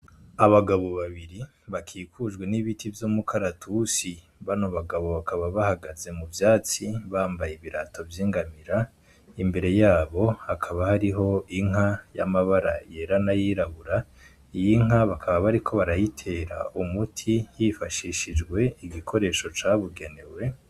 Abagabo babiri bakikujwe n'ibiti vyo mukaratusi bano bagabo bakaba bahagaze mu vyatsi bambaye ibirato vy'ingamira imbere yabo hakaba hariho inka y'amabara yera na yirabura iyi inka bakaba bariko barayitera umuti yifashishijwe igikoresho ca bigenewe.